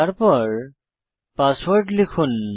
তারপর পাসওয়ার্ড লিখুন